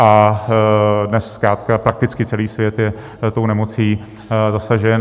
A dnes zkrátka prakticky celý svět je tou nemocí zasažen.